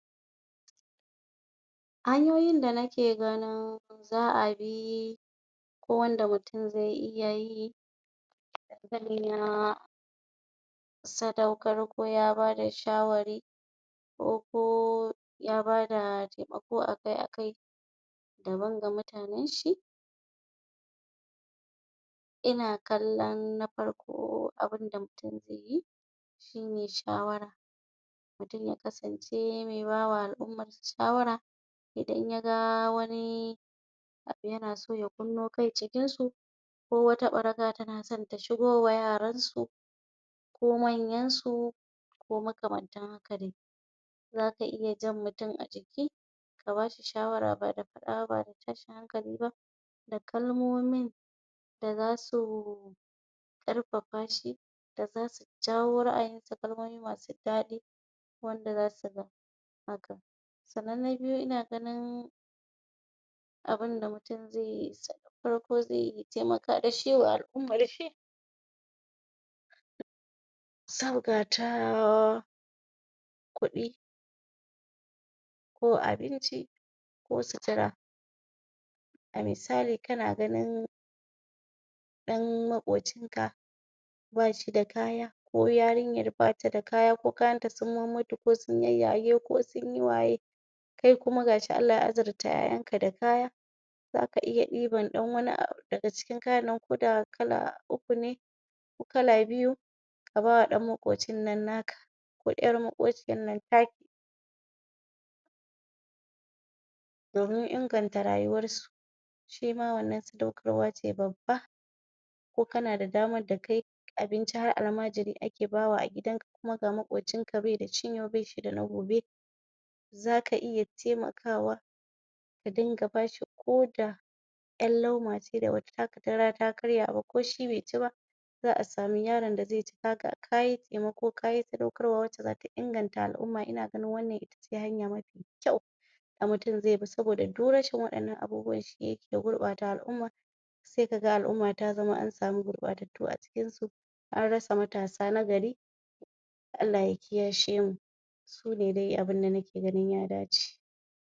hanyoyin da nake ganin za'a bi ko wanda mutum zai iya yi hankalin ya sadaukar ko ya bada shawari ko ya bada taimako akai akai da ban ga mutananshi ina kallan na farko abunda mutum zaiyi shine shawara mutum ya kasance me bawa al'ummarsa shawara idan yaga wani yanaso ya kunno kai cikinsu ko wata ɓaraka tanasan ta shigowa yaransu ko manyansu ko makamantan haka dai zaka iya jan mutum a jiki kabashi shawara ba da faɗa ba bada tashin hankali ba da kalmomin da zasu karfafa shi daza su jawo ra'ayi da kalmomi masu daɗi wanda zasu ga haka sannan na biyu ina ganin abunda mutum zaiyi farko zai taimaka dashi wa al'ummarshi sabga ta kuɗi ko abinci ko sitira a misali kana ganin dan maƙocinka bashida kaya ko yarinyar bata da kaya ko kayanta sun mummutu ko sun yayyage ko sunyi waye kai kuma gashi Allah ya azirta ƴa'ƴanka da kaya zaka iya ɗiban dan wani abu daga cikin kayan nan ko da kala uku ne daga cikin kayan ko kala uku ne ko kala biyu ka bawa ɗan maƙocin nan naka ko yar maƙociyar nan taki domin inganta rayuwarsu shima wannan sadaukarwa ce babba ko kana da damar da kai abinci har almajiri ake bawa a gidanka kuma ga maƙocinka baida cin yau baida na gobe zaka iya taimakawa ka dinga bashi ko da ƴar lumace da bata taka kara ta karya ba ko shi be ci ba za a samu yaran da zaici kayi taimako kayi sadaukarwa wacce zata inganta al'umma ina ganin wannan itace hanya mafi kyau da mutum zaibi saboda duk rashin wannan abubuwan shi yake gurɓata al'umma sai kaga al'umma ta zama ansamu gurɓatattu a cikinsu anrasa matasa nagari Allah ya kiyashemu sune dai abunda nake ganin ya dace